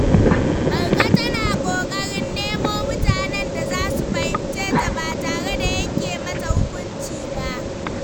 Marka tana kokarin nemo mutanen da za su fahimce ta ba tare da yanke mata hukunci ba.